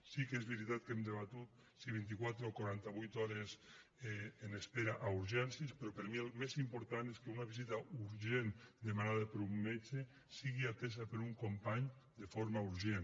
sí que és veritat que hem debatut si vint i quatre o quaranta vuit hores en espera a urgències però per mi el més important és que una visita urgent demanada per un metge sigui atesa per un company de forma urgent